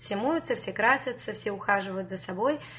все моются все красятся все ухаживают за собой